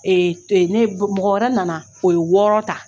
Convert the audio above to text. E e ne mɔgɔ wɛrɛ nana o ye wɔɔrɔ ta